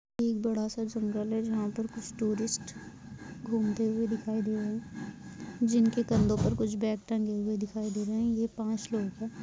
एक बड़ा सा जंगल है जहा पर कुछ टुरिस्ट घूमते हुए दिखाई दे रहे है जिनके कंधे पर कुछ बेग टंगे हुए दिखाई दे रहे है ये पाँच लोग है।